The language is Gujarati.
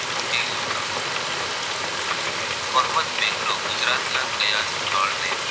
મોહમદ બેગડો ગુજરાત ના કયા સ્થળને